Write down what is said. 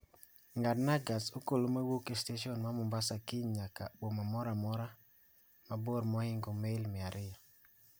ng'adna gach okolokowuok e stesen ma mombasa kiny nyaka boma moro amora ma bor mohingo mail mia ariyo